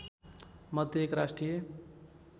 मध्ये एक राष्ट्रिय